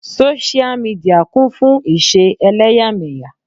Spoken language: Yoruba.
Sósíà midìà kún fún ìṣe ẹlẹ́yàmẹ̀yà.